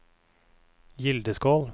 Gildeskål